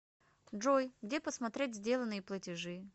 джой где посмотреть сделанные платежи